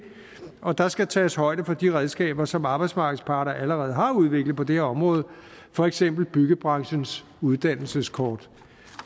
og der skal tages højde for de redskaber som arbejdsmarkedets parter allerede har udviklet på det her område for eksempel byggebranchens uddannelseskort